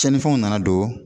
Tiɲɛnifɛnw nana don